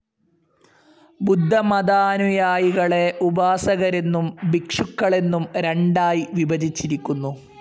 ബുദ്ധമതാനുയായികളെ ഉപാസകരെന്നും ഭിക്ഷുക്കളെന്നും രണ്ടായി വിഭജിച്ചിരിക്കുന്നു.